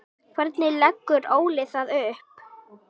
Hvernig leggur Óli það upp?